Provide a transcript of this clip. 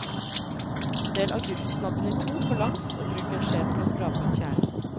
Del agurksnabben i to på langs og bruk en skje til å skrape ut kjernen.